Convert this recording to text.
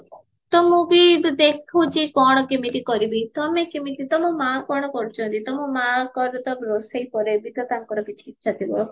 ତ ମୁଁ ବି ଏବେ ଦେଖୁଚି କଣ କେମିତି କରିବି ତମେ କେମିତି ତମ ମା କଣ କରୁଚନ୍ତି ତମ ମାଙ୍କରବି ତ ରୋଷେଇ ପରେ ବି ତ ତାଙ୍କର କିଛି ଇଚ୍ଛା ଥିବା